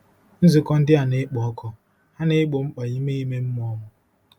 Nzukọ ndị a na-ekpo ọkụ, ha na-egbo mkpa ime ime mmụọ m.